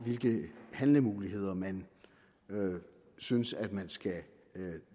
hvilke handlemuligheder man synes at man skal